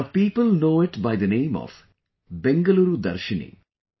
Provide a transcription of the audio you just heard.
Now people know it by the name of Bengaluru Darshini